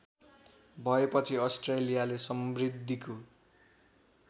भएपछि अस्ट्रेलियाले समृद्धिको